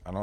Ano.